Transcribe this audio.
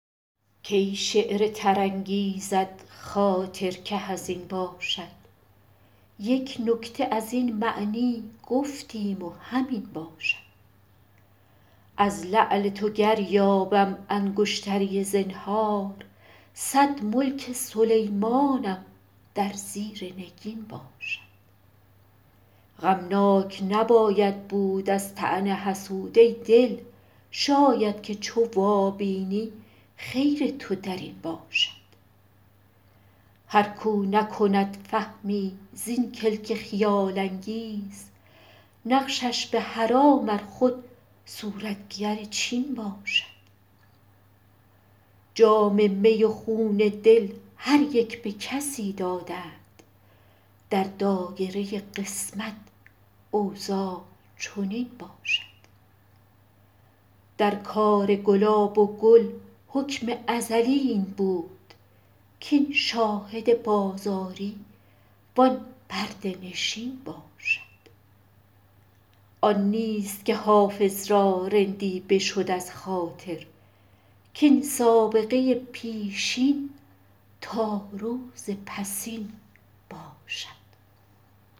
کی شعر تر انگیزد خاطر که حزین باشد یک نکته از این معنی گفتیم و همین باشد از لعل تو گر یابم انگشتری زنهار صد ملک سلیمانم در زیر نگین باشد غمناک نباید بود از طعن حسود ای دل شاید که چو وابینی خیر تو در این باشد هر کاو نکند فهمی زین کلک خیال انگیز نقشش به حرام ار خود صورتگر چین باشد جام می و خون دل هر یک به کسی دادند در دایره قسمت اوضاع چنین باشد در کار گلاب و گل حکم ازلی این بود کاین شاهد بازاری وان پرده نشین باشد آن نیست که حافظ را رندی بشد از خاطر کاین سابقه پیشین تا روز پسین باشد